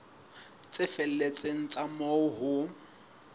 tse felletseng tsa moo ho